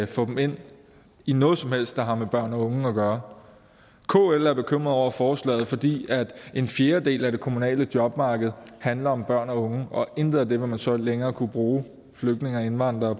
få dem ind i noget som helst der har med børn og unge at gøre kl er bekymrede over forslaget fordi en fjerdedel af det kommunale jobmarked handler om børn og unge og intet af det vil man så længere kunne bruge flygtninge og indvandrere